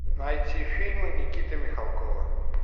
найти фильмы никиты михалкова